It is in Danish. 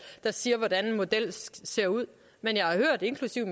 der siger hvordan en model ser ud men jeg har hørt inklusive